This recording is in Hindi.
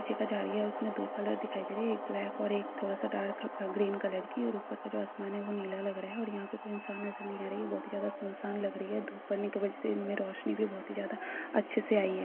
उसमे दो कलर दिखाई दे रही है। एक ब्लैक और एक थोडा-सा dark green colour dark green colour है और उपर का जो आसमान है वो नीला लग रहा है। और यहाँ पे इंसान नजर नहीं आ रही है। बहुत ही ज्यादा सुनसान लग़ रही है । धूप पड़ने कि वजह से इनमे रोशनी भी बहुत ही ज्यादा अच्छे से आई है।